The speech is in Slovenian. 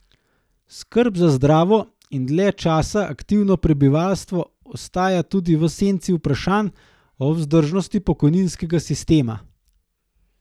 Skrb za zdravo in dalj časa aktivno prebivalstvo ostaja tudi v senci vprašanj o vzdržnosti pokojninskega sistema.